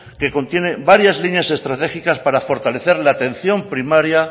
que contiene varias líneas estratégicas para fortalecer la atención primaria